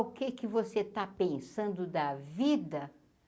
O que que você está pensando da vida?